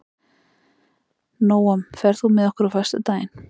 Nóam, ferð þú með okkur á föstudaginn?